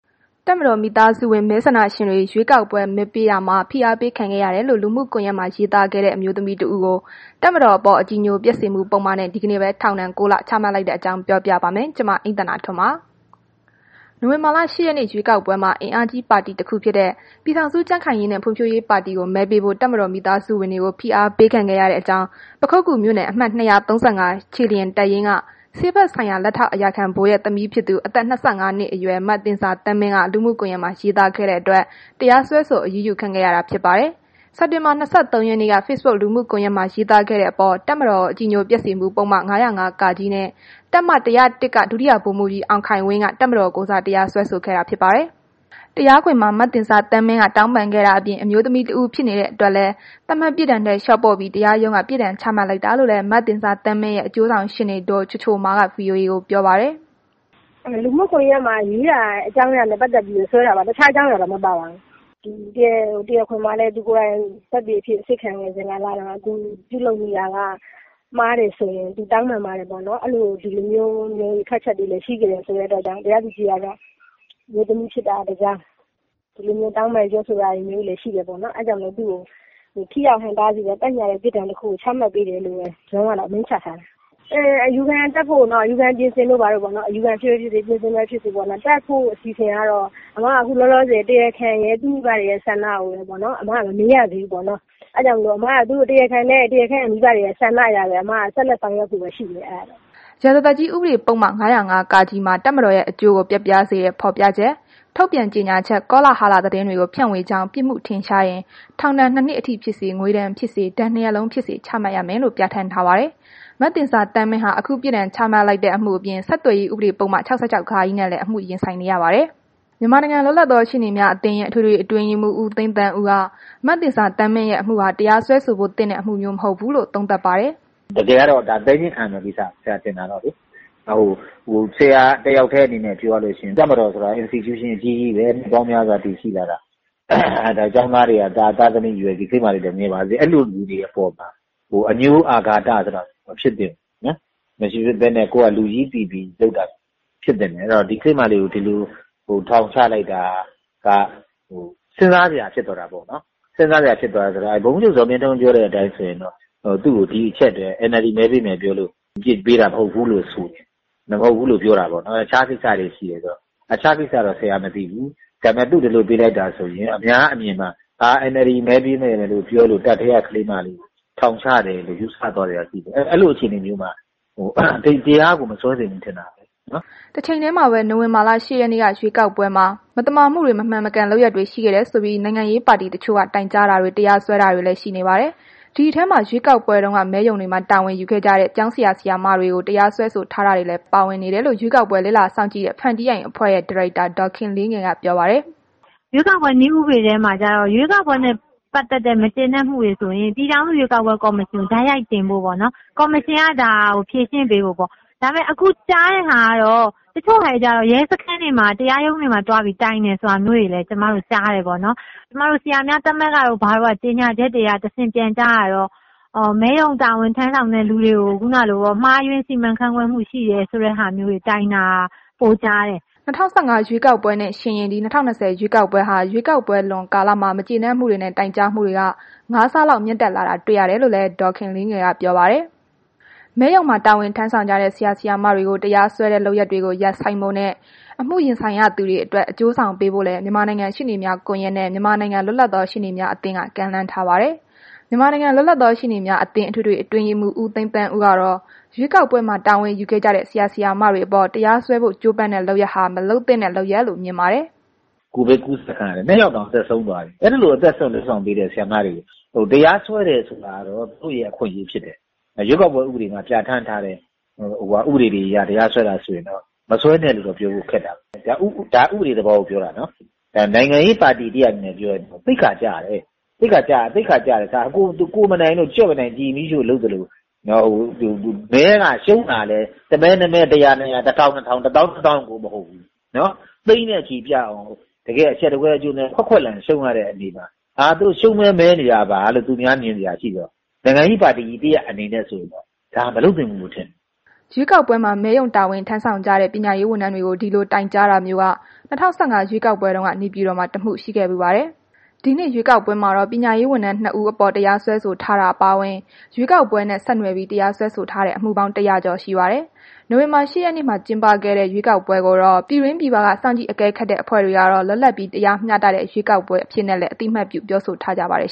တပ်မတော်သား မိသားစုဝင် မဲဆန္ဒရှင်တွေ ရွေးကောက်ပွဲမှာ မဲပေးရာမှာ ဖိအားပေးခံခဲ့ရတယ်လို့ လူမှုကွန်ယက်မှာ ရေးသားခဲ့သူ အမျိုးသမီးတဦးကို တပ်မတော်အပေါ် အကြည်ညိုပျက်စေမှု ပုဒ်မနဲ့ ဒီနေ့ပဲ ထောင်ဒဏ် ၉ လ ချမှတ်လိုက်တဲ့အကြောင်း ပြောပြပါမယ်။ ဗွီအိုအေမြန်မာပိုင်း သတင်းထောက် မအိမ့်သန္တာထွန်းက သတင်းပေးပို့ထားပါတယ်။ နိုဝင်ဘာလ ၈ ရက်နေ့ ရွေးကောက်ပွဲမှာ အင်အားကြီးပါတီတခုဖြစ်တဲ့ ပြည်ထောင်စုကြံ့ခိုင်ရေးနဲ့ ဖွံ့ဖြိုးရေးပါတီကို မဲပေးဖို့ တပ်မတော်သား မိသားစုဝင်တွေကို ဖိအားပေးခဲ့တဲ့အကြောင်း ပခုက္ကူမြို့နယ် အမှတ် ၂၃၅ ခြေလျင်တပ်ရင်းက ဆေးဘက်ဆိုင်ရာ လက်ထောက်အရာခံဗိုလ်ရဲ့ သမီးဖြစ်သူ အသက် ၂၅ နှစ်အရွယ် မသဉ္ဇာသန်းမင်း လူမှုကွန်ရက်မှာ ရေးသားခဲ့တဲ့အတွက် တရားစွဲဆို အရေးယူခံခဲ့ရတာ ဖြစ်ပါတယ်။ စက်တင်ဘာ ၂၃ ရက်နေ့က Facebook လူမှုကွန်ယက်မှာ ရေးသားခဲ့တဲ့အပေါ် တပ်မတော်ကို အကြည်ညိုပျက်စေမှုပုဒ်မ ၅၀၅ နဲ့ တပ်မ ၁၀၁ က ဒုတိယဗိုလ်မှူးကြီး အောင်ခိုင်ဝင်းက တပ်မတော်ကိုယ်စား တရားစွဲဆိုခဲ့တာဖြစ်ပါတယ်။ တရားခွင်မှာ မသဉ္ဇာသန်းမင်းက တောင်းပန်ခဲ့တာအပြင် အမျိုးသမီးတဦး ဖြစ်နေတဲ့အတွက်လည်း သတ်မှတ်ပြစ်ဒဏ်ထက် လျှော့ပေါ့ပြီး တရားရုံးက ပြစ်ဒဏ်ချမှတ်လိုက်တာလို့လည်း မသဉ္ဇာသန်းမင်းရဲ့ အကျိုးဆောင်ရှေ့နေ ဒေါ်ချိုချိုမာက ဗွီအိုအေကို ပြောပါတယ်။ “လူမှုကွန်ယက်မှာ ရေးတာအကြောင်းအရာနဲ့ ပတ်သက်ပြီးတော့အတွက်ပဲစွဲတာပါ။ တခြားအကြောင်းအရာ မပါပါဘူး။ တရားခွင်မှာ သူကိုယ်တိုင် သက်သေအဖြစ် အစစ်ခံစဉ်တုန်းက သူပြုလုပ်မိတာက မှားတယ်ဆိုရင် သူတောင်းပန်ပါတယ်ပေါ့နော်။ အဲ့ဒီလို ထွက်ချက်တွေလည်း ရှိခဲ့တဲ့အတွက် သူ့ကို တရားသူကြီးက အမျိုးသမီးဖြစ်တာက တစ်ကြောင်း ဒီလိုတောင်းပန်ပြောဆိုတာမျိုးလည်း ရှိတယ်ပေါ့နော်။ အဲ့ဒါကြောင့်သူကို ထိရောက်ဟန့်တားပြီးတော့ သက်ညှာတဲ့ ပြစ်ဒဏ်တစ်ခုကို ချမှတ်ပေးတယ်လို့ပဲ ရုံးကတော့ အမိန့်ချထားတယ်။ အယူခံတက်ဖို့တို့၊ အယူခံပြင်ဆင်ဖို့တို့က အစီအစဉ်ကတော့ ကျမက ခုလောလောဆယ်တို့ တရားခံရယ်၊ သူမိဘတွေရဲ့ ဆန္ဒတွေရယ်ကိုတော့ မမေးရသေးဘူးပေါ့နော်။ အဲ့ဒါကြောင့် ကျမကတော့ တရားခံနဲ့ သူမိဘတွေရဲ့ ဆန္ဒအရပဲ ဆက်ပြီးလုပ်ဆောင်ဖို့ ရှိမယ်။” ရာဇသတ်ကြီး ဥပဒေပုဒ်မ ၅၀၅ မှာ တပ်မတော်ရဲ့ အကျိုးကိုပျက်ပြားစေတဲ့ ဖော်ပြချက်၊ ထုတ်ပြန်ကြေညာချက်၊ ကောလဟာလ သတင်းတွေကို ဖြန့်ဝေကြောင်း ပြစ်မှုထင်ရှားရင် ထောင်ဒဏ် ၂ နှစ်အထိဖြစ်စေ၊ ငွေဒဏ်ဖြစ်စေ၊ ဒဏ်နှစ်ရပ်လုံးဖြစ်စေချမှတ်ရမယ်လို့ ပြဌာန်းထားပါတယ်။ မသဉ္ဇာသန်းမင်းဟာ အခုပြစ်ဒဏ်ချမှတ်လိုက်တဲ့ အမှုအပြင် ဆက်သွယ်ရေးဥပဒေပုဒ်မ ၆၆ နဲ့လည်း အမှုရင်ဆိုင်နေရပါတယ်။ မြန်မာနိုင်ငံလွတ်လပ်သောရှေ့နေများအသင်းရဲ့ အထွေထွေအတွင်းရေးမှူး ဦးသိန်းသန်းဦးက မသဉ္ဇာသန်းမင်းရဲ့အမှုဟာ တရားစွဲဆိုဖို့သင့်တဲ့ အမှုမျိုးမဟုတ်ဘူးလို့ သုံးသပ်ပါတယ်။ “တကယ်ကတော့ သည်းငြီးခံရမယ့်ကိစ္စ ဆရာတစ်ယောက်တည်းအမြင်နဲ့ ပြောရလို့ရှိရင်လေ။ တပ်မတော်ဆိုတာ Institution အကြီးကြီးပဲ နှစ်ပေါင်းများစွာ တည်ရှိလာတာ၊ ဒီကလေးမလေးဆိုရင် ငယ်ပါသေးတယ်။ ဒီလိုလူတွေအပေါ်မှာ အငြိုးအာဃာတ ဆိုတာမဖြစ်သင့်ဘူး။ လူကြီးပီပီဆောင်ရွက်သင့်တယ်။ ဒီကလေးမလေးကို ဒီလို ထောင်ချလိုက်တာက စဉ်းစားစရာဖြစ်သွားတာပေါ့နော်။ စဉ်းစားစရာဖြစ်သွားတာပေါ့နော်။ ဗိုလ်မှူးချုပ်ဇော်မင်းထွန်းပြောတဲ့အတိုင်းဆိုရင်တော့ သူကို ဒီတစ်ချက် NLD မဲပေးမယ့်ပြောလို့ အပြစ်ပေးတာမဟုတ်ဘူးလို့ ဆိုတယ်။ အခြားကိစ္စတွေရှိတယ်ဆိုတော့ အခြားကိစ္စကို မသိတော့ ခုဒီလို အပြစ်ပေးလိုက်တာက အများအမြင်မှာ ဒါ NLD မဲပေးမယ်ပြောလို့ တပ်ထဲက ကလေးမလေးကို ထောင်ချတယ်လို့ ယူဆသွားစရာရှိတယ်။ အဲ့ဒီလိုအခြေအနေမျိုးမှာ တရားကို မစွဲသင့်ဘူး ထင်တာပဲ။” တချိန်တည်းမှာပဲ နိုဝင်ဘာလ ၈ ရက်နေ့က ရွေးကောက်ပွဲမှာ မသမာမှုတွေ မမှန်မကန် လုပ်ရပ်တွေ ရှိခဲ့တယ်ဆိုပြီး နိုင်ငံရေးပါတီတချို့က တိုင်ကြားတာတွေ တရားစွဲဆိုတာတွေလည်း ရှိနေပါတယ်။ ဒီအထဲမှာ ရွေးကောက်ပွဲတုန်းက မဲရုံတွေမှာ တာဝန်ယူခဲ့ကြတဲ့ ကျောင်းဆရာ၊ ဆရာမတွေကို တရားစွဲဆိုတာတွေလည်း ပါဝင်နေတယ်လို့ ရွေးကောက်ပွဲလေ့လာစောင့်ကြည့်တဲ့ ဖန်တီးအိမ်အဖွဲ့ရဲ့ ဒါရိုက်တာ ဒေါ်ခင်လေးငယ်က ပြောပါတယ်။ “ရွေးကောက်ပွဲနည်းဥပဒေထဲမှာက ရွေးကောက်ပွဲနဲ့ ပတ်သက်တဲ့ မကျေနပ်မှုတွေ ဆိုရင် ပြည်ထောင်စုရွေးကောက်ပွဲကော်မရှင်ကို တိုက်ရိုက်တင်ဖို့ပေါ့နော်။ ကော်မရှင်က ဒါကိုဖြေရှင်း ပေးမယ်ပေါ့။ ဒါပေမဲ့ ခုကြားတဲ့ဟာကတော့ ကျမတို့ ကြားတယ်ပေါ့နော်။ ကျမတို့ ဆရာများသမဂ္ဂတို့ ဘာတို့က ထုတ်ပြန်တဲ့ ကြေညာချက်တွေအရ ကြားရတာကတော့ မဲရုံတာဝန်ထမ်းဆောင်တဲ့သူတွေကို မှားယွင်းစီမံခန့်ခွဲမှု ရှိတယ်ဆိုတဲ့ဟာမျိုးတွေ တိုင်တာပိုကြားတယ်။” ၂၀၁၅ ရွေးကောက်ပွဲနဲ့ ယှဉ်ရင် ဒီ ၂၀၂၀ ရွေးကောက်ပွဲဟာ ရွေးကောက်ပွဲလွန်ကာလမှာ မကျေနပ်မှုတွေနဲ့ တိုင်ကြားမှုတွေက ၅ ဆလောက်မြင့်တက်လာတာတွေ့ရတယ်လို့လည်း ဒေါ်ခင်လေးငယ်က ပြောပါတယ်။ မဲရုံမှာ တာဝန်ထမ်းဆောင်ကြတဲ့ ဆရာ၊ ဆရာမတွေကို တရားစွဲတဲ့ လုပ်ရပ်တွေကို ရပ်ဆိုင်းဖို့နဲ့ အမှုရင်ဆိုင်ရသူတွေအတွက် အကျိုးဆောင်ပေးဖို့လည်း မြန်မာနိုင်ငံရှေ့နေများကွန်ယက်နှင့် မြန်မာနိုင်ငံလွတ်လပ်သော ရှေ့နေများအသင်းက ကမ်းလှမ်းထားပါတယ်။ မြန်မာနိုင်ငံလွတ်လပ်သော ရှေ့နေများအသင်း အထွေထွေအတွင်းရေးမှူး ဦးသိန်းသန်းဦးကတော့ ရွေးကောက်ပွဲမှာ တာဝန်ယူခဲ့ကြတဲ့ ဆရာ၊ ဆရာမတွေအပေါ် တရားစွဲဖို့ ကြိုးပမ်းတဲ့လုပ်ရပ်ဟာ မလုပ်သင့်တဲ့လုပ်ရပ်လို့ မြင်ပါတယ်။ “ကိုဗစ်ကူးစက်ခံရလို့ နှစ်ယောက်တောင် အသက်ဆုံးသွားပြီ။ အဲ့ဒီလို အသက်စွန့်လုပ်ဆောင်ပေးတဲ့ ဆရာမတွေကို တရားစွဲတယ်ဆိုတာကတော့ သူ့ရဲ့ အခွင့်အရေးဖြစ်တယ်။ ရွေးကောက်ပွဲဥပဒေမှာ ပြဌာန်းထားတဲ့ ဥပဒေတွေအရ တရားစွဲတာဆိုရင်တော့ မစွဲနဲ့လို့တော့ ပြောဖို့ခက်တာပေါ့။ ဒါက ဥပဒေသဘောကိုပြောတာနော်။ နိုင်ငံရေးပါတီတစ်ရပ်အနေနဲ့ ပြောရရင်တော့ သိက္ခာကျတယ်။ သိက္ခာကျတယ်။ ဒါက ကြွက်မနိုင် ကျီမီးရှို့လုပ်သလို မဲက ရှုံးတာကလည်း တစ်မဲ၊ နှစ်မဲ၊ ၁၀၀၊ ၂၀၀၊ ၁,၀၀၀၊ ၂,၀၀၀၊ ၁၀,၀၀၀၊ ၂၀,၀၀၀ ကို မဟုတ်ဘူး။ သိန်းနဲ့ချီပြီး အရှက်တကွဲအကျိုးနည်း ခွက်ခွက်လန်ရှုံးထားတာ။ ဒါရှုံးမဲ မဲနေတာပါလို့ အများက ထင်စရာရှိတယ်။ နိုင်ငံရေးပါတီကြီးတစ်ရပ်အနေနဲ့ဆိုရင် ဒါမျိုးက မလုပ်သင့်ဘူးလို့ထင်တယ်။” ရွေးကောက်ပွဲမှာ မဲရုံတာဝန်ထမ်းဆောင်ကြတဲ့ ပညာရေးဝန်ထမ်းတွေကို ဒီလိုတိုင်ကြားတာမျိုးက ၂၀၁၅ ရွေးကောက်ပွဲတုန်းက နေပြည်တော်မှာ တစ်မှု ရှိခဲ့ဖူးပါတယ်။ ဒီနှစ်ရွေးကောက်ပွဲမှာတော့ ပညာရေးဝန်ထမ်း ၂ ဦးအပေါ် တရားစွဲဆိုထားတာ အပါအဝင် ရွေးကောက်ပွဲနဲ့ ဆက်နွယ်ပြီး တရားစွဲထားတဲ့ အမှုပေါင်း ၁၀၀ ကျော် ရှိပါတယ်။ နိုဝင်ဘာလ ၈ ရက်နေ့က ကျင်းပခဲ့တဲ့ ရွေးကောက်ပွဲကိုတော့ ပြည်တွင်းပြည်ပက စောင့်ကြည့်အကဲခတ်အဖွဲ့တွေကတော့ လွတ်လပ်ပြီး မျှတတဲ့ ရွေးကောက်ပွဲ အဖြစ်နဲ့လည်း အသိအမှတ်ပြု ပြောဆိုထားကြပါတယ်